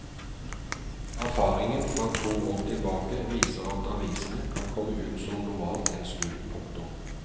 Erfaringen fra to år tilbake viser at avisene kan komme ut som normalt en stund. punktum